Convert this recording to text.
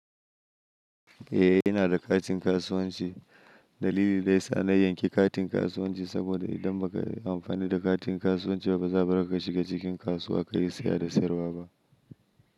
Eh ina da katin kasuwanci. Dalili daya sa na yanki katin kasuwanci saboda idan baka amfani da katin kasuwanci ba bazaka shiga cikin kasuwa kayi saya da sayarwa ba.